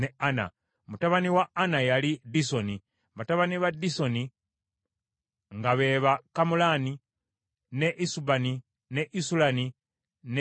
Mutabani wa Ana yali Disoni, batabani ba Disoni nga be ba Kamulani, ne Esubani, ne Isulani ne Kerani.